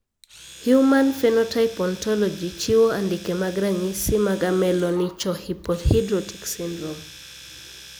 Human Phenotype Ontology chiwo andike mag ranyisi mag Ameloonychohypohidrotic syndrome.